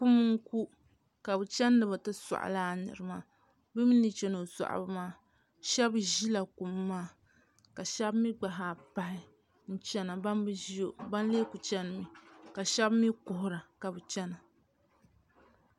Kum n-ku ka bɛ chani bɛ ti sɔɣi lala nira maa bɛ mi chani o sɔɣibu maa shɛba ʒila kum maa ka shɛba mi gba zaa pahi n-chana bana bi ʒi o bana lee kuli chanimi ka shɛba mi kuhira ka bɛ chana